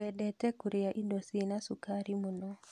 Wendete kũria indo cina cukari mũno